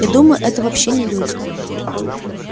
я думаю это вообще не люди